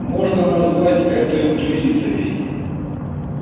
можно назвать это интуицией